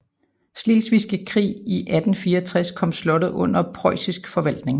Slesvigske Krig i 1864 kom slottet under preussisk forvaltning